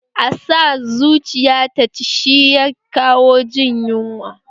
A sa zuciya ta ci shi ya kawo jin yunwa